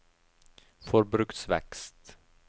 forbruksvekst